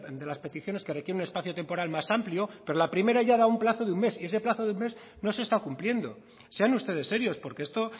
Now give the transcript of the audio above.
de las peticiones que requieren un espacio temporal más amplio pero la primera ya ha dado plazo de un mes y ese plazo de un mes no se está cumpliendo sean ustedes serios porque esto